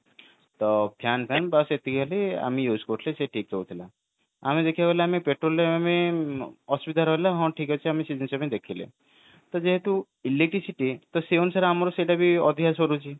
ତ fan fan ବସ ଏତିକି ଖାଲି ଆମେ use କରୁଥିଲେ ସେ ଠିକ ରହୁଥିଲା ଆମେ ଦେଖିବାକୁ ଗଲେ ଆମେ petrol ରେ ଆମେ ଅସୁବିଧା ରହିଲା ତ ଆମେ ସେଇ ଜିନିଷ ଟା ଆମେ ଦେଖିଲେ କିନ୍ତୁ electricity ତ ସେଇ ଅନୁସାରେ ଆମର ସେଇଟା ବି ଅଧିକା ସରୁଛି